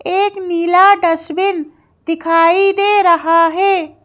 एक नीला डस्टबिन दिखाई दे रहा है।